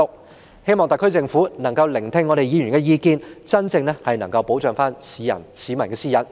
我希望特區政府可以聆聽議員的意見，真正保障市民的私隱。